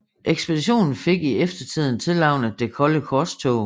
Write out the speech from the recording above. Ekspeditionen fik i eftertiden tilnavnet Det kolde korstog